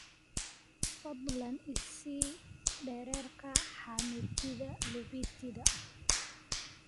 fadlan i sii dhererka xameetida lupita